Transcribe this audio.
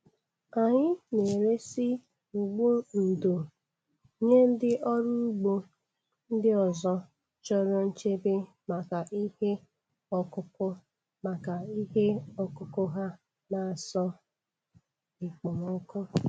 Anyị na-eresị ụgbụ ndò nye ndị ọrụ ugbo ndị ọzọ chọrọ nchebe maka ihe ọkụkụ maka ihe ọkụkụ ha n'asọ ekpomọkụ.